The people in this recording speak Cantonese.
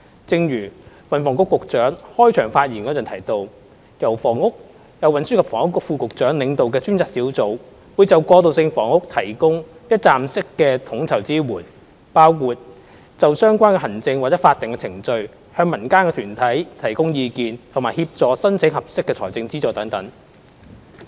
正如運輸及房屋局局長開場發言時提到，由運輸及房屋局副局長領導的專責小組會就過渡性房屋提供一站式的統籌支援，包括就相關的行政或法定程序向民間團體提供意見，以及協助申請合適的財政資助等。